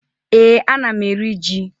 Ee, ana m eri ji.